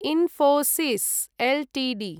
Infosys Ltd